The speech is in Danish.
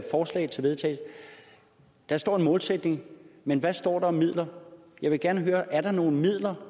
forslag til vedtagelse der står en målsætning men hvad står der om midler jeg vil gerne høre er nogle midler